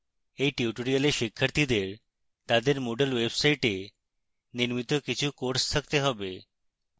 এই tutorial শিক্ষার্থীদের তাদের moodle website নির্মিত কিছু courses থাকতে have